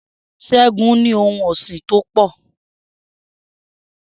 S̩é̩gun ní ohun ò̩sìn tó pò̩